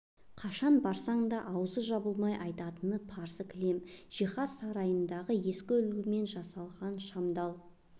қашан барсаң да аузы жабылмай айтатыны парсы кілем жиһаз сарайындағы ескі үлгімен жасалған шамдал